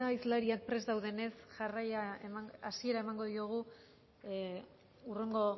hizlariak prest daudenez hasiera emango diogu hurrengo